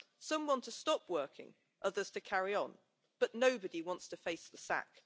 Some want to stop working, others to carry on, but nobody wants to face the sack.